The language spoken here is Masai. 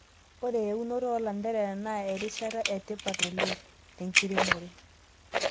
Ore eunoto oolanterera naa erishata etipat oleng' tenkiremore.